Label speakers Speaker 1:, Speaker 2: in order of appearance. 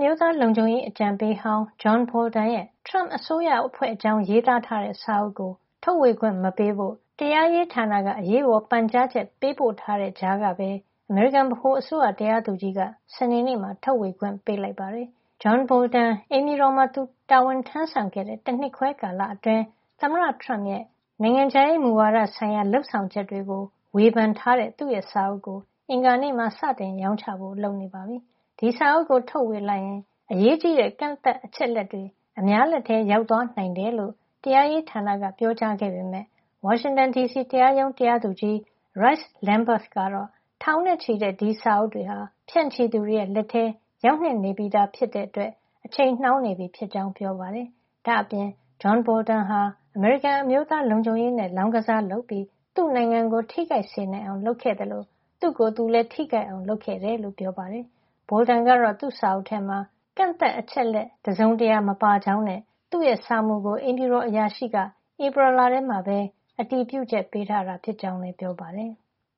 Speaker 1: မျိုးသားလုံခြုံရေး အကြံပေးဟောင်း John Bolton ရဲ့ Trump အစိုးရအဖွဲ့အကြောင်း ရေးသားထားတဲ့ စာအုပ်ကို ထုတ်ဝေခွင့်မပေးဖို့ တရားရေးဌာနက အရေးပေါ် ပန်ကြားချက် ပေးပို့ထားတဲ့ကြားကပဲ အမေရိကန် ဗဟိုအစိုးရ တရားသူကြီးက စနေနေ့မှာ ထုတ်ဝေခွင့် ပေးလိုက်ပါတယ်။ John Bolton အိမ်ဖြူတော်မှာ သူတာဝန်ထမ်းဆောင်ခဲ့တဲ့ တနှစ်ခွဲကာလအတွင်း သမ္မတ Trump ရဲ့ နိုင်ငံခြားရေးမူဝါဒဆိုင်ရာ လုပ်ဆောင်ချက်တွေကို ဝေဖန်ထားတဲ့ သူ့စာအုပ်ကို အင်္ဂါနေ့မှာ စတင်ရောင်းချဖို့ လုပ်နေပါပြီ။ ဒီစာအုပ်ကို ထုတ်ဝေလိုက်ရင် အရေးကြီးတဲ့ ကန့်သတ်အချက်အလက်တွေ အများလက်ထဲ ရောက်သွားနိုင်တယ်လို့ တရားရေးဌာနက ပြောကြားခဲ့ပေမယ့် ဝါရှင်တန်ဒီစီ တရားရုံး တရားသူကြီး Royce Lamberth ကတော့ ထောင်နဲ့ချီတဲ့ ဒီစာအုပ်တွေဟာ ဖြန့်ချိသူတွေလက်ထဲ ရောက်နေပြီးသား ဖြစ်တဲ့အတွက် အချိန်နှောင်းနေပြီဖြစ်ကြောင်း ပြောပါတယ်။ ဒါ့အပြင် John Bolton ဟာ အမေရိကန် အမျိုးသားလုံခြုံရေးနဲ့ လောင်းကစားလုပ်ပြီး သူ့နိုင်ငံကို ထိခိုက်စေနိုင်အောင် လုပ်ခဲ့သလို သူ့ကိုယ်သူလည်း ထိခိုက်အောင် လုပ်ခဲ့တယ်လို့ ပြောပါတယ်။ Bolton ကတော့ သူ့စာအုပ်ထဲမှာ ကန့်သတ်အချက်အလက် တစုံတရာ မပါကြောင်းနဲ့ သူ့စာမူကို အိမ်ဖြူတော်အရာရှိက ဧပြီလထဲမှာ အတည်ပြုချက် ပေးထားတာဖြစ်ကြောင်း ပြောပါတယ်။